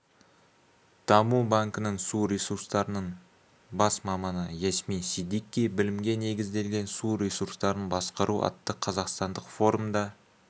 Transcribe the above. даму банкінің су ресурстарының бас маманыясмин сиддики білімге негізделген су ресурсарын басқару атты қазақстандық форумда